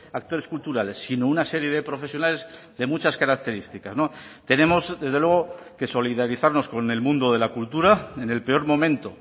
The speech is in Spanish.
actores culturales sino una serie de profesionales de muchas características tenemos desde luego que solidarizarnos con el mundo de la cultura en el peor momento